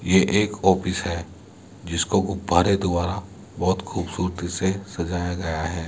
ये एक ऑपिस है जिसको गुब्बारे द्वारा बोहोत खूबसूरती से सजाया गया है।